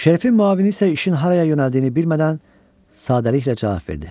Şerifin müavini isə işin haraya yönəldiyini bilmədən sadəliklə cavab verdi.